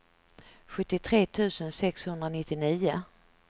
sjuttiotre tusen sexhundranittionio